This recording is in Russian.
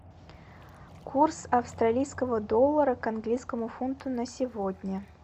курс австралийского доллара к английскому фунту на сегодня